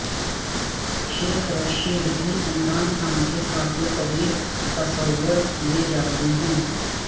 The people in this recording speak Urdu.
شیخ رشید بھی عمران خان کے کافی قریب تصور کیے جاتے ہیں